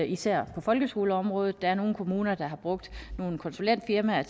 især på folkeskoleområdet der er nogle kommuner der har brugt nogle konsulentfirmaer